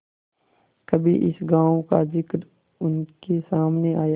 कभी इस गॉँव का जिक्र उनके सामने आया